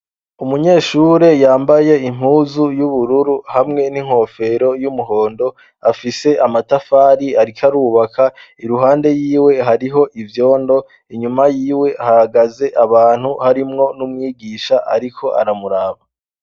Umunyeshure yambaye impuzu y'ubururu hamwe n'inkofero y'umuhondo. Afise amatafari ariko arubaka. Iruhande y'iwe, hariho ivyondo, inyuma y'iwe, hahagaze abantu harimwo n'umwigisha ariko aramuraba.